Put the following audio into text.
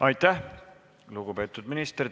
Aitäh, lugupeetud minister!